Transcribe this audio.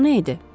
O nə idi?